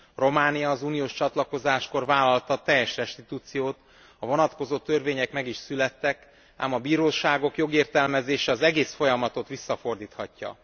Románia az uniós csatlakozáskor vállalta a teljes restitúciót, a vonatkozó törvények meg is születtek, ám a bíróságok jogértelmezése az egész folyamatot visszafordíthatja.